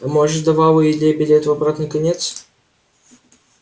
а может давала илье билет в обратный конец